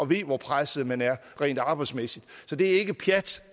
ved hvor presset man er rent arbejdsmæssigt så det er ikke pjat